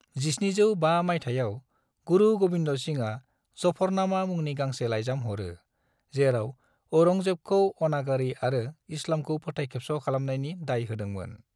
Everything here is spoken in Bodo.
1705 मायथाइयाव, गुरु गोबिंद सिंहआ जफरनामा मुंनि गांसे लाइजाम हरो, जेराव औरंगजेबखौ अनागारि आरो इस्लामखौ फोथाय खेबस' खालामनायनि दाय होदों मोन।